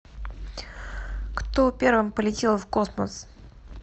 кто первым полетел в космос